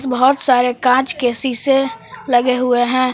बहुत सारे काँच के शीशे लगे हुए है।